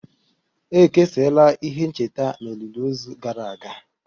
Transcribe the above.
E kesara ihe ncheta na olili ozu gara aga